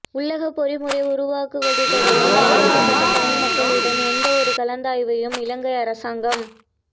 உள்ளகப் பொறிமுறை உருவாக்குவது தொடர்பில் பாதிக்கப்பட்ட தமிழ் மக்களுடன் எந்தவொரு கலந்தாய்வையும் இலங்கை அரசாங்கம்